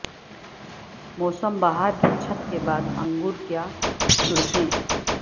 موسم بہار کی چھت کے بعد انگور کیا چھڑکیں